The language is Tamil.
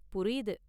புரியுது